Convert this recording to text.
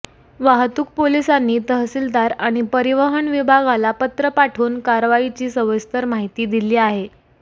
वाहतूक पोलिसांनी तहसीलदार आणि परिवहन विभागाला पत्र पाठवून कारवाईची सविस्तर माहिती दिली आहे